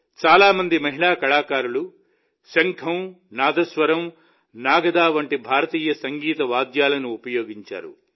చాలా మంది మహిళా కళాకారులు శంఖం నాదస్వరం నాగద వంటి భారతీయ సంగీత వాయిద్యాలను ఉపయోగించారు